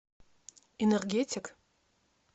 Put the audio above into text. энергетик